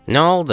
Nə oldu?